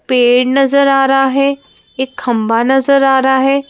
पेड़ नजर आ रहा है एक खंभा नजर आ रहा है।